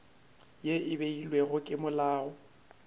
ye e beilwego ke molao